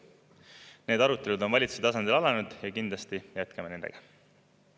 Need arutelud on valitsuse tasandil alanenud ja kindlasti jätkame nendega.